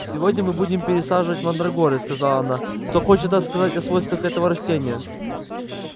сегодня мы будем пересаживать мандрагоры сказала она кто хочет рассказать о свойствах этого растения